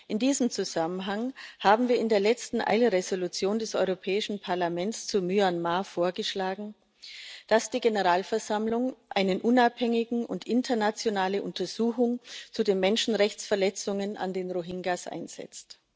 In diesem Zusammenhang haben wir in der letzten Dringlichkeitsentschließung des Europäischen Parlaments zu Myanmar vorgeschlagen, dass die Generalversammlung eine unabhängige und internationale Untersuchung zu den Menschenrechtsverletzungen an den Rohingya einsetzt.